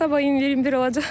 Sabah 21 olacaq.